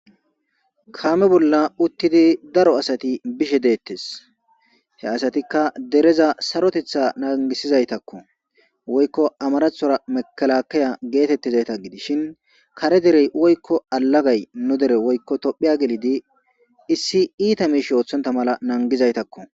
Kaame bolla uttidi daro asati bishe deettes he asatikka dereza sarotetha nangisizaytakko woykko amarathora mekalakeya geetettizayta gidishin kare derey woykko alagay nu dere woykko tophiya gelidi issi iita miishi ooththonta mala nangizaytakko.